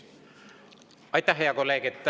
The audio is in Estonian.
Aitäh, hea kolleeg!